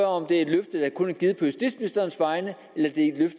om det er et løfte der kun er givet på justitsministerens vegne